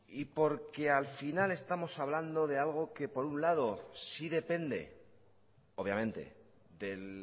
y porque al final estamos hablando de algo que por un lado sí depende obviamente del